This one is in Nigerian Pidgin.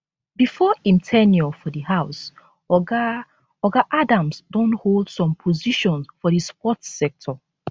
before im ten ure for di house oga oga adams don hold some positions for di sports sector